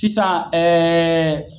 tisan ɛɛɛ